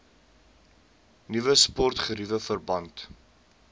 nuwe sportgeriewe verband